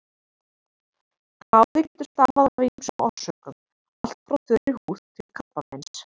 Kláði getur stafað af ýmsum orsökum, allt frá þurri húð til krabbameins.